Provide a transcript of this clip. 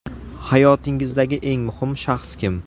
Hayotingizdagi eng muhim shaxs kim?